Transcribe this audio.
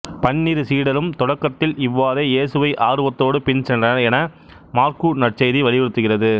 பன்னிரு சீடரும் தொடக்கத்தில் இவ்வாறே இயேசுவை ஆர்வத்தோடு பின்சென்றனர் என மாற்கு நற்செய்தி வலியுறுத்துகிறது